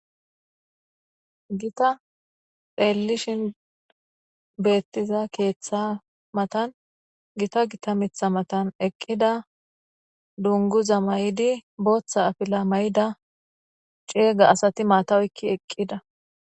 gita xeellishin beettiza keeththa matan gita gita mitha matan eqqida dunguza may7idi booththa afila may7ida ceega asati maatawoykki eqqida